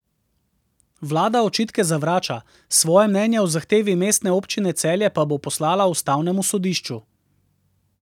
Vlada očitke zavrača, svoje mnenje o zahtevi mestne občine Celje pa bo poslala ustavnemu sodišču.